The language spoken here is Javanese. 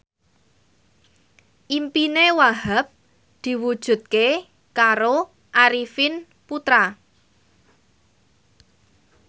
impine Wahhab diwujudke karo Arifin Putra